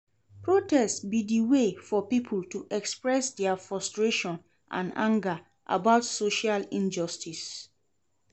Protest be di way for people to express dia frustration and anger about social injustices.